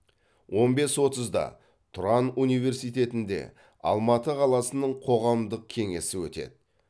он бес отызда тұран университетінде алматы қаласының қоғамдық кеңесі өтеді